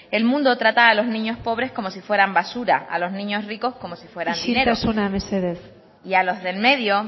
el mundo trata a los niños pobres como si fueran basura a los niños ricos como si fueran dinero isiltasuna mesedez y a los del medio